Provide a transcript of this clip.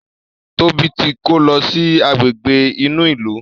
Tóbi tí kò ló sì Àgbègbè inú ilu.